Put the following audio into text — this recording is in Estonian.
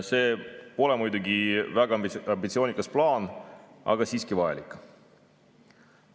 See pole muidugi väga ambitsioonikas plaan, aga siiski vajalik.